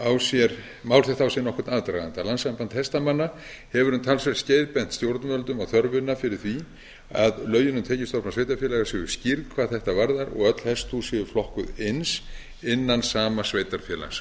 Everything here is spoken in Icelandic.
á sér nokkurn aðdraganda landssamband hestamanna hefur um talsvert skeið bent stjórnvöldum á þörfina fyrir því að lögin um tekjustofna sveitarfélaga séu skýrð hvað þetta varðar og öll hesthús séu flokkuð eins innan sama sveitarfélags